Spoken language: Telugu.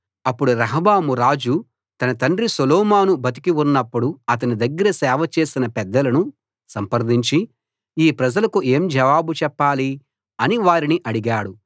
అప్పుడు రెహబాము రాజు తన తండ్రి సొలొమోను బతికి ఉన్నప్పుడు అతని దగ్గర సేవ చేసిన పెద్దలను సంప్రదించి ఈ ప్రజలకు ఏం జవాబు చెప్పాలి అని వారిని అడిగాడు